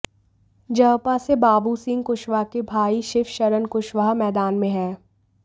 जअपा से बाबू सिंह कुशवाहा के भाई शिवशरण कुशवाहा मैदान में हैं